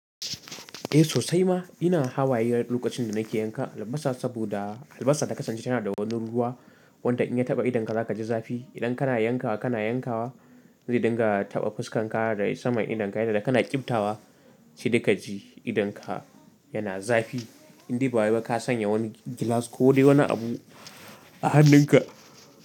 Eh sosai ma ina hawaye lokacin da nake yanka albasa saboda albasa da ka sance tana da wani ruwa wanda in ya taɓa idonka za ka ji zafi. Idan kana yankawa kana yankawa, zai dinga taɓa fuskar ka da sama idonka yadda kana ƙyibtawa shi da ka ji idonka yana zafi inda ba wai ka sanya wani gilas ko dai wani abu a hannunka.